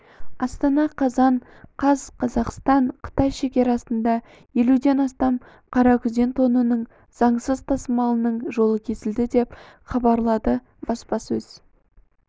астана қазан қаз қазақстан-қытай шекарасында елуден астам қаракүзен тонының заңсыз тасымалының жолы кесілді деп хабарлады баспасөз